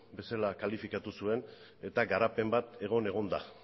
bezala kalifikatu zuen eta garapen bat egon egon da